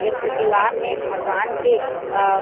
एक ठो दिवार में भगवान के अ --